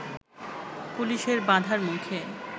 পুলিশের বাঁধার মুখে